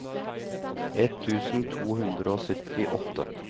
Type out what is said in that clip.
ett tusen to hundre og syttiåtte